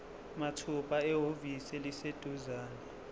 mathupha ehhovisi eliseduzane